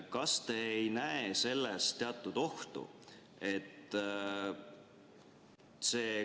Kas te ei näe selles teatud ohtu?